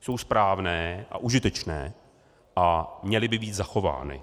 jsou správné a užitečné a měly by být zachovány.